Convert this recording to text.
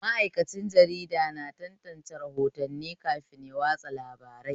Ma'aikacin jarida na tantance rahotanni kafin ya watsa labarai